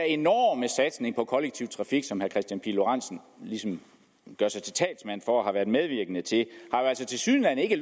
enorme satsning på den kollektive trafik som herre kristian pihl lorentzen ligesom gør sig til talsmand for og har været medvirkende til altså tilsyneladende ikke